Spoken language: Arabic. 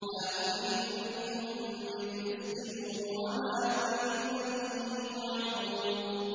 مَا أُرِيدُ مِنْهُم مِّن رِّزْقٍ وَمَا أُرِيدُ أَن يُطْعِمُونِ